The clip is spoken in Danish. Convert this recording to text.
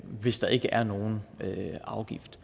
hvis der ikke er nogen afgift